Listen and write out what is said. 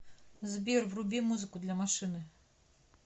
сбер вруби музыку для машины